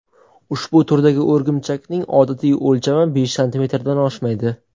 Ushbu turdagi o‘rgimchakning odatiy o‘lchami besh santimetrdan oshmaydi.